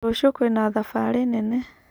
Rũciũ kwĩna thabarĩ nene.